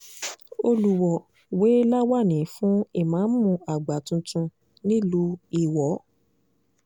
olùwọ́ọ́ wé láwàní fún ìmáàmù àgbà tuntun nílùú iwọ